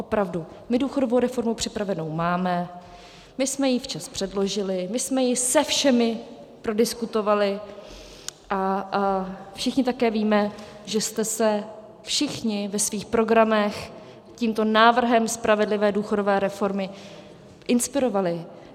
Opravdu, my důchodovou reformu připravenou máme, my jsme ji včas předložili, my jsme ji se všemi prodiskutovali a všichni také víme, že jste se všichni ve svých programech tímto návrhem spravedlivé důchodové reformy inspirovali.